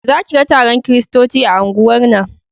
Za ki ga taron kiristoci a unguwar nan